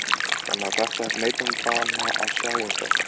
Þannig að þetta er neytendanna að sjá um þetta?